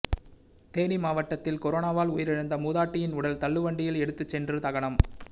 தேனி மாவட்டத்தில் கொரோனாவால் உயிரிழந்த மூதாட்டியின் உடல் தள்ளுவண்டியில் எடுத்துச் சென்று தகனம்